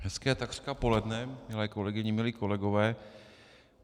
Hezké takřka poledne, milé kolegyně, milí kolegové.